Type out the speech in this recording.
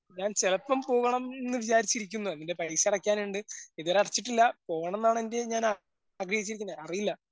ഞാൻ ചെലപ്പം പോവണംന്ന് വിചാരിച്ചിരുന്നത്. അതിൻ്റെ പൈസ അടക്കാനുണ്ട്. ഇതുവരെ അടച്ചിട്ടില്ലാ. പോവണംന്നാണ് എന്റെയും പ്രേതീക്ഷിക്കുന്നത്. അറിയില്ല.